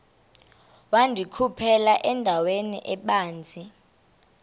wandikhuphela endaweni ebanzi